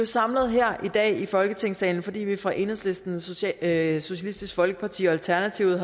samlet her i dag i folketingssalen fordi vi fra enhedslisten socialistisk folkeparti og alternativets